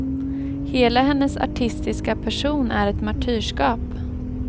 Hela hennes artistiska person är ett martyrskap.